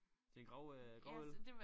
Til en grav øh gravøl?